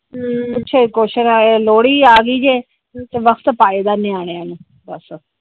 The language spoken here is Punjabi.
ਹਮ ਪਿੱਛੇ ਕ਼ੁਇਸਨ ਆਏ ਲੋਹੜੀ ਆਹ ਗਈ ਕੇ ਵਕਤ ਪਾਇਆ ਨਿਆਣਿਆ ਨੂੰ ਬਸ।